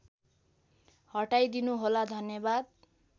हटाइदिनु होला धन्यवाद